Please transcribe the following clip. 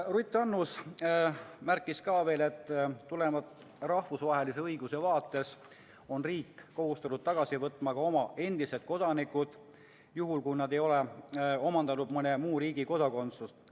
Ruth Annus märkis veel, et tulenevalt rahvusvahelisest õigusest on riik kohustatud tagasi võtma ka oma endised kodanikud, juhul kui nad ei ole omandanud mõne muu riigi kodakondsust.